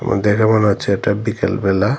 আমার দেখে মনে হচ্ছে এটা বিকেলবেলা।